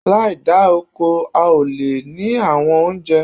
Láì da oko, a ó lè ní àwọn oúnjẹ